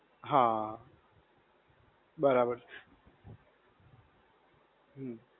હા. બરાબર. હમ્મ.